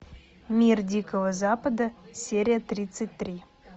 мир дикого запада серия тридцать три